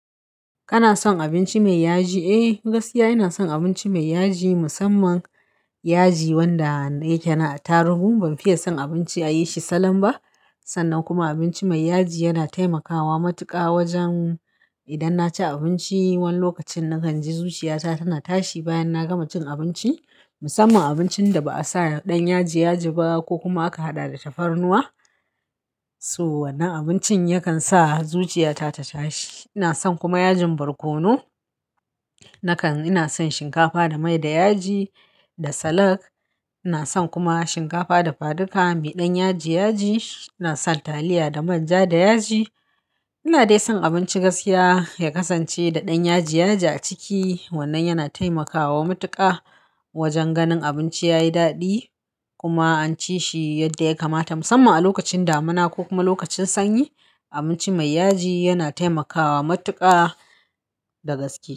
Kana son abinci mai yaji? Eh, gaskiya ina son abinci mai yaji musamman yaji wanda yake na a tarugu. Ban fiye son abinci a yi shi salam ba. Sannan kuma abinci mai yaji yana taimakawa matuƙa wajen idan na ci abinci wani lokacin, na kan ji zuciya ta tana tashi bayan na gama cin abinci. Musamman abincin da ba a sa ɗan yaji yaji ba ko kuma aka haɗa da tafarnuwa. So, wannan abincin yakan sa zuciya ta ta tashi. Ina son kuma yajin barkono. Nakan-- ina son shinkafa da mai da yaji da salak. Ina son kuma shinkafa da faduka mai ɗan yaji yaji. Ina son taliya da manja da yaji. Ina dai son abinci gaskiya ya kasance da ɗan yaji yaji a ciki wannan yana taimakawa matuƙa wajen ganin abinci yayi daɗi kuma an ci shi yadda ya kamata musamman a lokacin damina ko kuma lokacin sanyi. Abinci mai yaji yana taimakawa matuƙa da gaske.